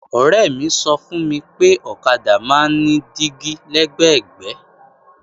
Ọ̀rẹ́ mi sọ fún mi pé ọ̀kadà máa ń ní dígí lẹ́gbẹ̀gbẹ́